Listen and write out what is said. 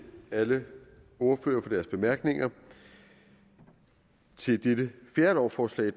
alle ordførere for deres bemærkninger til dette fjerde lovforslag i